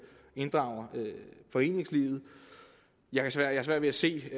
foreningslivet jeg har svært ved at se